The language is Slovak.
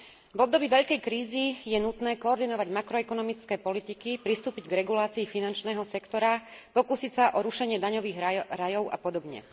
V období veľkej krízy je nutné koordinovať makroekonomické politiky, pristúpiť k regulácii finančného sektora, pokúsiť sa o rušenie daňových rajov a podobne.